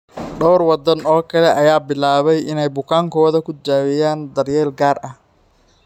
Dhowr waddan oo kale ayaa bilaabay inay bukaankooda ku daweeyaan daryeel gaar ah.